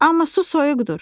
"Amma su soyuqdur.